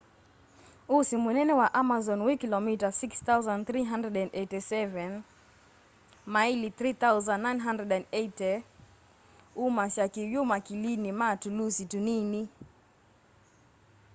ũsi mũnene wa amazon wĩ kĩlomita 6,387 maĩli 3,980. umasya kĩw'ũ makilinĩ ma tũlũsi tũnini